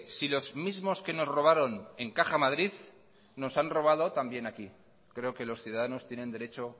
si los mismos que nos robaron en caja madrid nos han robado también aquí creo que los ciudadanos tienen derecho